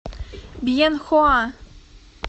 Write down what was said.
бьенхоа